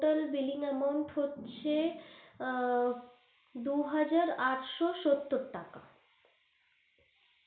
Total billing amount হচ্ছে আ দু হাজার আটশো সত্তর টাকা।